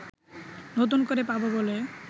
নতুন করে পাবো বলে